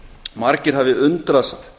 margir hafi undrast